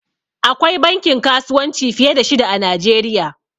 Akwai bankin kasuwanci fiye da shida a najeriya